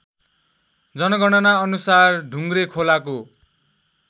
जनगणना अनुसार ढुङ्ग्रेखोलाको